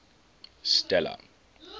stella